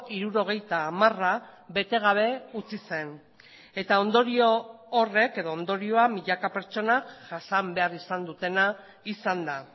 hirurogeita hamara bete gabe utzi zen eta ondorioa milaka pertsonak jasan behar izan dutena izan da